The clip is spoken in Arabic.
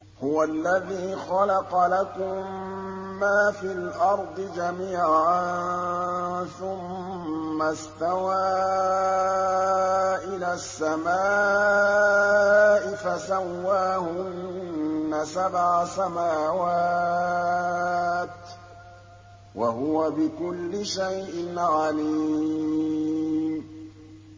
هُوَ الَّذِي خَلَقَ لَكُم مَّا فِي الْأَرْضِ جَمِيعًا ثُمَّ اسْتَوَىٰ إِلَى السَّمَاءِ فَسَوَّاهُنَّ سَبْعَ سَمَاوَاتٍ ۚ وَهُوَ بِكُلِّ شَيْءٍ عَلِيمٌ